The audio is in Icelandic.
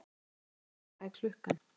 Aríella, hvað er klukkan?